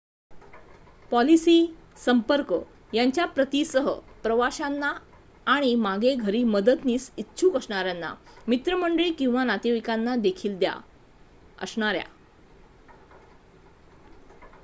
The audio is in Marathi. पॉलिसी / संपर्क यांच्या प्रती सह प्रवाशांना आणि मागे घरी मदतीस इच्छुक असणाऱ्या मित्रमंडळी किंवा नातेवाईकांना देखील द्या असणाऱ्या